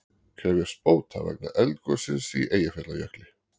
Krefjast bóta vegna eldgossins í Eyjafjallajökli